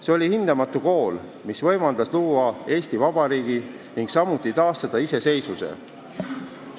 See oli hindamatu kool, mis võimaldas luua Eesti Vabariigi ning samuti taastada iseseisvuse.